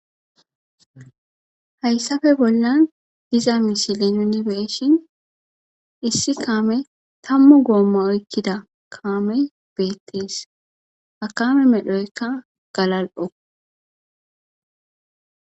Hayssafe bollan diza misilin unibeeshin issi kaame tammu goommo oykkida kaame beettis hakame medhoykka galal7o.